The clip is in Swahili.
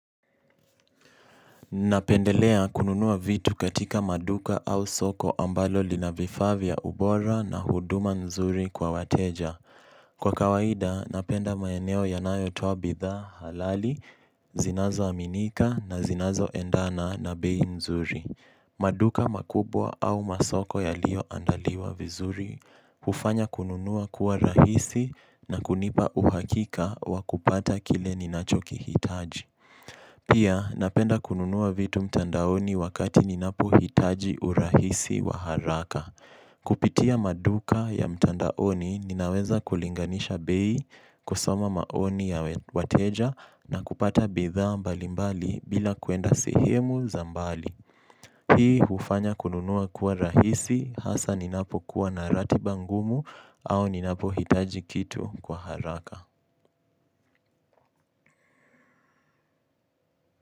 Napendelea kununua vitu katika maduka au soko ambalo lina vifaa vya ubora na huduma nzuri kwa wateja. Kwa kawaida, napenda maeneo yanayo toa bidhaa halali, zinazo aminika na zinazo endana na bei nzuri. Maduka makubwa au masoko yalio andaliwa vizuri. Hufanya kununua kuwa rahisi na kunipa uhakika wakupata kile ni nachoki hitaji. Pia napenda kununua vitu mtandaoni wakati ninapo hitaji urahisi wa haraka. Kupitia maduka ya mtandaoni ninaweza kulinganisha bei kusoma maoni ya wateja na kupata bidha mbalimbali bila kuenda sehemu za mbali. Hii ufanya kununuwa kuwa rahisi hasa ninapo kuwa narati bangumu au ninapo hitaji kitu kwa haraka.